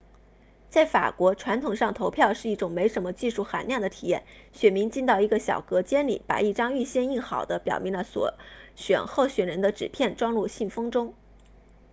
在法国传统上投票是一种没什么技术含量的体验选民进到一个小隔间里把一张预先印好的表明了所选候选人的纸片装入信封中